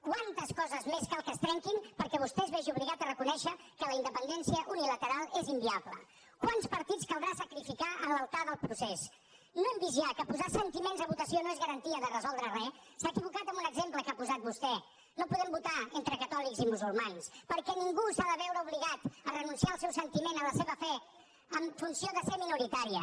quantes coses més cal que es trenquin perquè vostè es vegi obligat a reconèixer que la independència unilateral és inviable quants partits caldrà sacrificar a l’altar del procés no hem vist ja que posar sentiments a votació no és garantia de resoldre re s’ha equivocat en un exemple que ha posat vostè no podem votar entre catòlics i musulmans perquè ningú s’ha de veure obligat a renunciar al seu sentiment a la seva fe en funció de ser minoritària